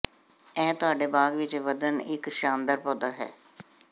ਇਹ ਤੁਹਾਡੇ ਬਾਗ ਵਿੱਚ ਵਧਣ ਇੱਕ ਸ਼ਾਨਦਾਰ ਪੌਦਾ ਹੈ